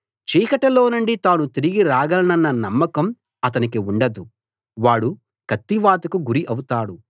చీకటిలోనుండి తాను తిరిగి రాగలనన్న నమ్మకం అతనికి ఉండదు వాడు కత్తివాతకు గురి అవుతాడు